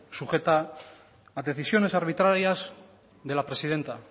sujeta a decisiones arbitrarias de la presidenta